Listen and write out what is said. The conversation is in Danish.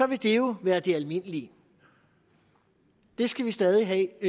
vil det jo være det almindelige det skal vi stadig have